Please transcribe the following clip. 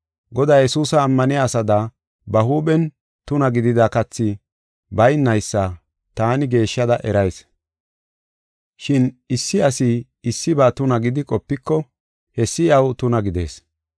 Godaa Yesuusa ammaniya asada, ba huuphen tuna gidida kathi baynaysa taani geeshshada erayis. Shin issi asi issiba tuna gidi qopiko hessi iyaw tuna gidees.